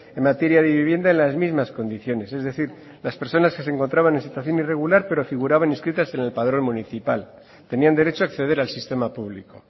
en materia de vivienda en las mismas condiciones es decir las personas que se encontraban en situación irregular pero figuraban inscritas en el padrón municipal tenían derecho a acceder al sistema público